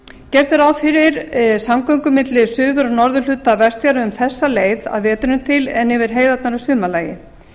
gert er ráð fyrir samgöngum milli suður og norðurhluta vestfjarða um þessa leið að vetrinum til en yfir heiðarnar að sumarlagi